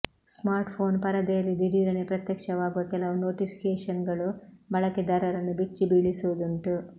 smartphone ಪರದೆಯಲ್ಲಿ ದಿಢೀರನೆ ಪ್ರತ್ಯಕ್ಷವಾಗುವ ಕೆಲವು ನೊಟಿಫಿಕೇಷನ್ಗಳು ಬಳಕೆದಾರರನ್ನು ಬೆಚ್ಚಿ ಬೀಳಿಸುವುದುಂಟು